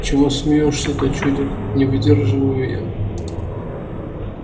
чего смеёшься-то чудик не выдерживаю я